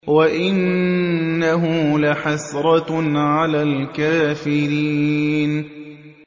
وَإِنَّهُ لَحَسْرَةٌ عَلَى الْكَافِرِينَ